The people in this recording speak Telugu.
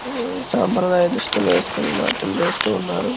సంప్రదాయ దుస్తులు వేసుకుని నాట్యం చేస్తూ ఉన్నారు.